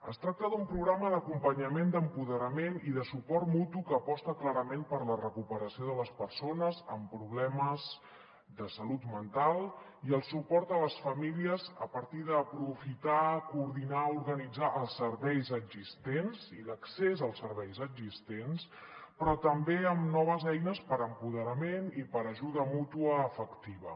es tracta d’un programa d’acompanyament d’empoderament i de suport mutu que aposta clarament per la recuperació de les persones amb problemes de salut mental i el suport a les famílies a partir d’aprofitar coordinar organitzar els serveis existents i l’accés als serveis existents però també amb noves eines per a empoderament i per a ajuda mútua efectiva